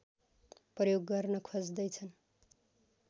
प्रयोग गर्न खोज्दैछन्